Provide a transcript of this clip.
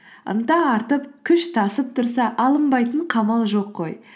ынта артып күш тасып тұрса алынбайтын қамал жоқ қой